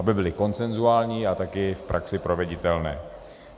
Aby byly konsenzuální a taky v praxi proveditelné.